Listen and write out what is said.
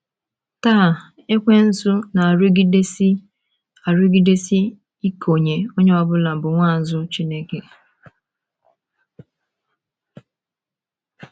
Taa, ekwensu na - arụgidesi - arụgidesi ikeonye ọ bụla bụ́ nwaazụ Chineke.